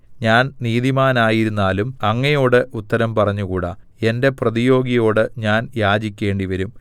ഞാൻ നീതിമാനായിരുന്നാലും അങ്ങയോട് ഉത്തരം പറഞ്ഞുകൂടാ എന്റെ പ്രതിയോഗിയോട് ഞാൻ യാചിക്കേണ്ടിവരും